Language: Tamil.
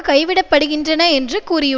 கைவிட படுகின்றன என்று கூறியுள்